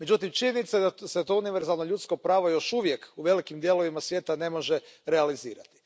Međutim, činjenica je da se to univerzalno ljudsko pravo još uvijek u velikim dijelovima svijeta ne može realizirati.